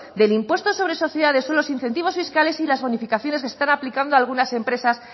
del impuesto sobre sociedades son los incentivos fiscales y las bonificaciones que están aplicando algunas empresas